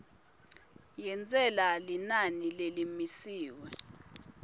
yentsela linani lelimisiwe